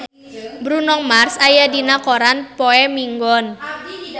Bruno Mars aya dina koran poe Minggon